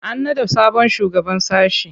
An naɗa sabon shugaban sashe.